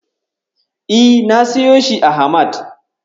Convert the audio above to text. E, na siyo shi a Hamad.